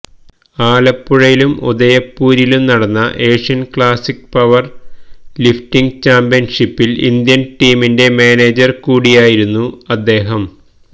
ആലപ്പുഴയിലും ഉദയപൂരിലും നടന്ന ഏഷ്യൻ ക്ലാസിക് പവർ ലിഫ്റ്റിങ് ചാമ്പ്യൻഷിപ്പിൽ ഇന്ത്യൻ ടീമിന്റെ മാനേജർ കൂടിയായിരുന്ന അദ്ദേഹം